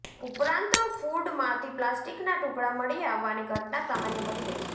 ઉપરાંત ફૂડમાંથી પ્લાસ્ટિકના ટુકડા મળી આવવાની ઘટના સામાન્ય બની ગઈ છે